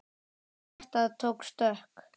Hjartað tók stökk!